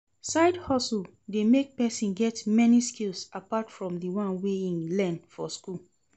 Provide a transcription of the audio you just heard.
Side hustle de make persin get many skills apart from di one wey im learn for school